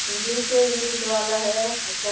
English हे English वाला है अच्छा--